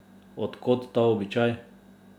Od kod ta običaj?